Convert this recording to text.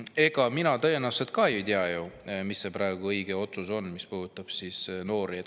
Ega mina tõenäoliselt ka ei tea, mis on see õige otsus, mis puudutab noori.